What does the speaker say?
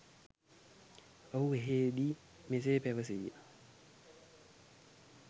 ඔහු එහදී මෙසේ පැවසිය.